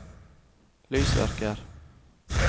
lysverker